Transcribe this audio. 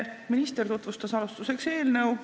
Alustuseks tutvustas minister eelnõu.